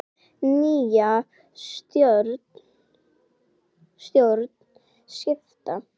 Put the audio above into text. Nýja stjórn skipa.